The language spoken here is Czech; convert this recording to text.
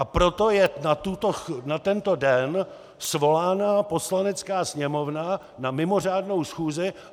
A proto je na tento den svolána Poslanecká sněmovna na mimořádnou schůzi!